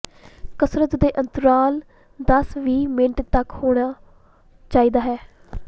ਕਸਰਤ ਦੇ ਅੰਤਰਾਲ ਦਸ ਵੀਹ ਮਿੰਟ ਤੱਕ ਹੋਣਾ ਚਾਹੀਦਾ ਹੈ